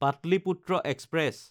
Pataliputra express